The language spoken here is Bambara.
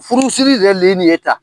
Furusiri yɛrɛ le ye nin ye tan